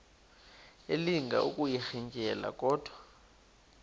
elinga ukuyirintyela kodwa